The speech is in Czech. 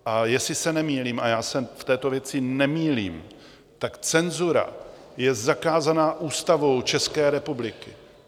A jestli se nemýlím, a já se v této věci nemýlím, tak cenzura je zakázaná Ústavou České republiky.